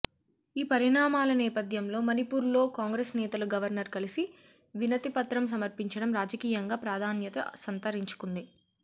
ఈ పరిణామాల నేపథ్యంలో మణిపూర్ లో కాంగ్రెస్ నేతలు గవర్నర్ కలిసి వినతి పత్రం సమర్పించడం రాజకీయంగా ప్రాధాన్యత సంతరించుకొంది